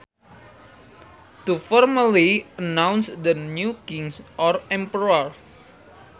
To formally announce the new king or emperor